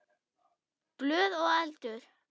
Blöð og eldur.